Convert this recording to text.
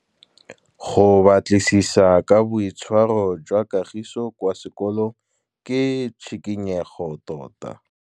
Go batlisisa ka boitshwaro jwa Kagiso kwa sekolong ke tshikinyêgô tota.